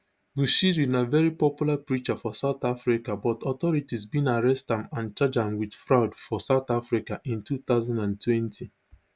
bushiri na very popular preacher for southern africa but authorities bin arrest am and charge am wit fraud for south africa in two thousand and twenty